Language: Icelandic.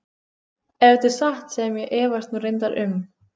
Ef þetta er satt sem ég efast nú reyndar um.